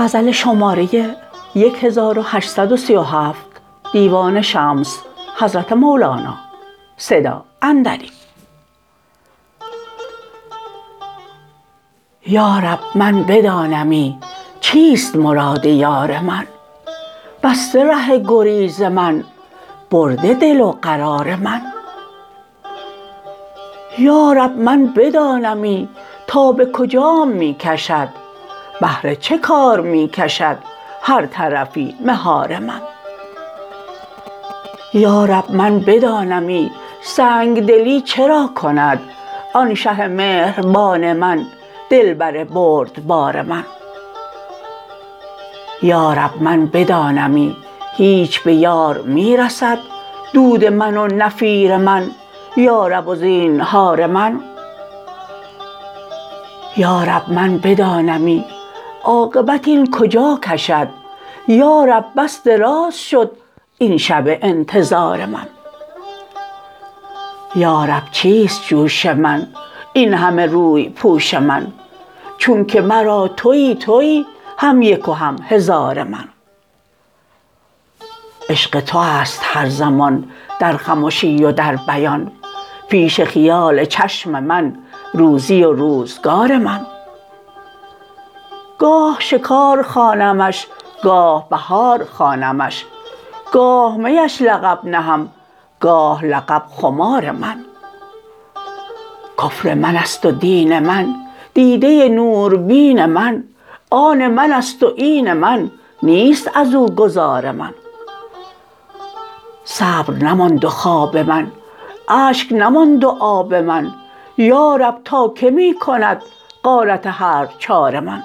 یا رب من بدانمی چیست مراد یار من بسته ره گریز من برده دل و قرار من یا رب من بدانمی تا به کجام می کشد بهر چه کار می کشد هر طرفی مهار من یا رب من بدانمی سنگ دلی چرا کند آن شه مهربان من دلبر بردبار من یا رب من بدانمی هیچ به یار می رسد دود من و نفیر من یارب و زینهار من یا رب من بدانمی عاقبت این کجا کشد یا رب بس دراز شد این شب انتظار من یا رب چیست جوش من این همه روی پوش من چونک مرا توی توی هم یک و هم هزار من عشق تو است هر زمان در خمشی و در بیان پیش خیال چشم من روزی و روزگار من گاه شکار خوانمش گاه بهار خوانمش گاه میش لقب نهم گاه لقب خمار من کفر من است و دین من دیده نوربین من آن من است و این من نیست از او گذار من صبر نماند و خواب من اشک نماند و آب من یا رب تا کی می کند غارت هر چهار من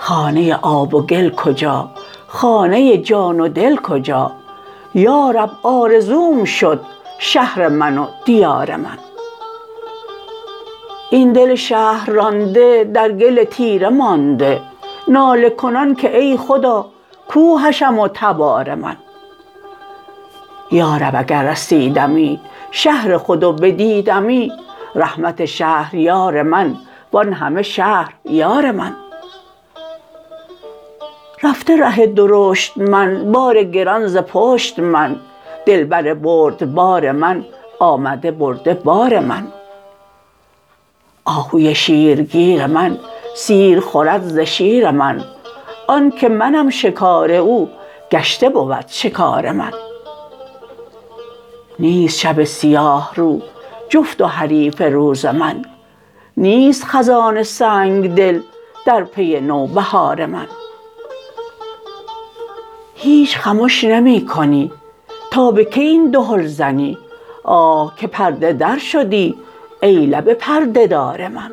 خانه آب و گل کجا خانه جان و دل کجا یا رب آرزوم شد شهر من و دیار من این دل شهر رانده در گل تیره مانده ناله کنان که ای خدا کو حشم و تبار من یا رب اگر رسیدمی شهر خود و بدیدمی رحمت شهریار من وان همه شهر یار من رفته ره درشت من بار گران ز پشت من دلبر بردبار من آمده برده بار من آهوی شیرگیر من سیر خورد ز شیر من آن که منم شکار او گشته بود شکار من نیست شب سیاه رو جفت و حریف روز من نیست خزان سنگ دل در پی نوبهار من هیچ خمش نمی کنی تا به کی این دهل زنی آه که پرده در شدی ای لب پرده دار من